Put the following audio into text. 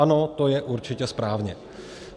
Ano, to je určitě správně.